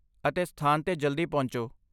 ਅਤੇ ਸਥਾਨ 'ਤੇ ਜਲਦੀ ਪਹੁੰਚੋ।